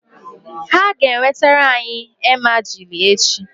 Ha ga-enwetara anyị emajili echi -